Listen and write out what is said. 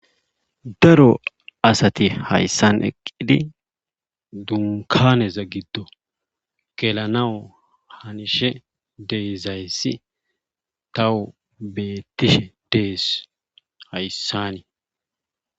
daro asati hayssan eqqidi dunkaneza giddo gelanao hanishe deyzayssi tawu bettishe dees hayssanii